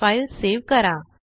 file save करा